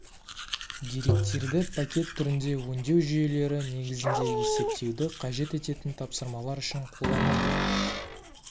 деректерді пакет түрінде өңдеу жүйелері негізінде есептеуді қажет ететін тапсырмалар үшін қолданылды